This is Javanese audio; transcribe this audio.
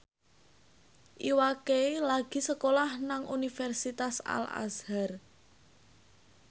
Iwa K lagi sekolah nang Universitas Al Azhar